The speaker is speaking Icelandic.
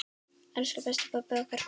Elsku besti pabbi okkar.